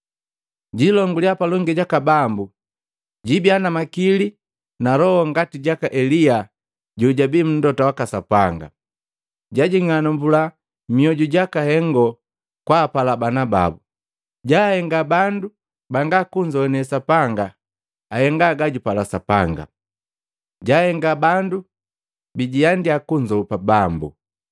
Jiilongulya palongi jaka Bambu, jiibia na makili na loho ngati jaka Elia jojabii Mlota waka Sapanga. Jajing'alumbua mioju jaka hengo kwaapala bana babu, jaahenga bandu banga kunzoane Sapanga ahenga gajupala Sapanga, jahenga bandu bijiandia kunzopa Bambu.”